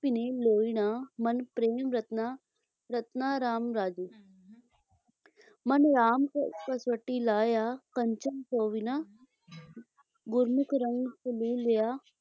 ਭਿੰਨੇ ਲੋਇਣਾ ਮਨੁ ਪ੍ਰੇਮਿ ਰਤੰਨਾ ਰਾਮ ਰਾਜੇ ॥ ਮਨੁ ਰਾਮਿ ਕਸਵਟੀ ਲਾਇਆ ਕੰਚਨੁ ਸੋਵਿੰਨਾ ॥ ਗੁਰਮੁਖਿ ਰੰਗਿ ਚਲੂਲਿਆ